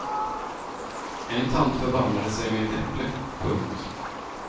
En tant förbarmade sig med ett äpple. punkt